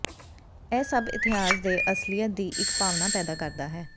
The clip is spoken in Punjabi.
ਇਹ ਸਭ ਇਤਿਹਾਸ ਦੇ ਅਸਲੀਅਤ ਦੀ ਇੱਕ ਭਾਵਨਾ ਪੈਦਾ ਕਰਦਾ ਹੈ